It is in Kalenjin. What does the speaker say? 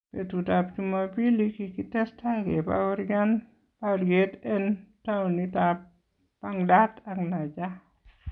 Betutab chumabili kikitestai kebaworyan baryeet en towunitab Baghdad ak Najaf